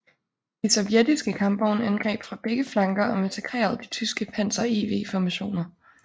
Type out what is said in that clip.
De sovjetiske kampvogne angreb fra begge flanker og massakrerede de tyske Panzer IV formationer